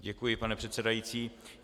Děkuji, pane předsedající.